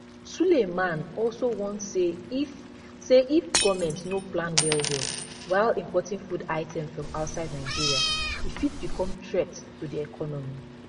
sulaiman also warn say if say if goment no plan wellwell while importing food items from outside nigeria e fit become threat to di economy